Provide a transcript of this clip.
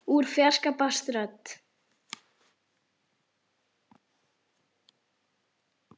Úr fjarska barst rödd.